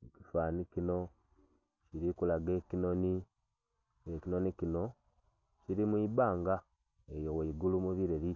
Mu kifananhi kino, ndhi kulaga ekinhonhi, nga ekinhonhi kino kili mu ibanga eyo ghaigulu mu bileli